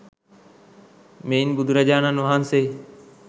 මෙයින් බුදුරජාණන් වහන්සේ